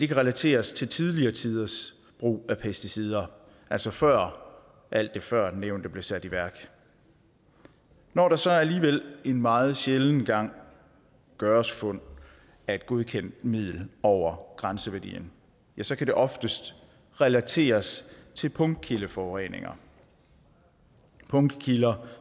kan relateres til tidligere tiders brug af pesticider altså før alt det førnævnte blev sat i værk når der så alligevel en meget sjælden gang gøres fund af et godkendt middel over grænseværdierne så kan det oftest relateres til punktkildeforureninger punktkilder